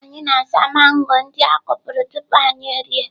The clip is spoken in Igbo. Anyị na-asa mango ndị a kụpụrụ tupu anyị erie.